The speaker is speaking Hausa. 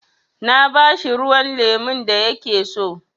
Na ba shi ruwan lemun da ya ke so.